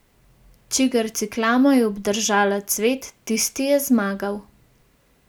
Čigar ciklama je obdržala cvet, tisti je zmagal.